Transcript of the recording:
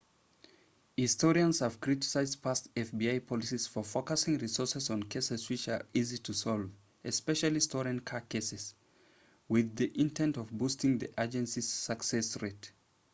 historians have criticized past fbi policies for focusing resources on cases which are easy to solve especially stolen car cases with the intent of boosting the agency's success rate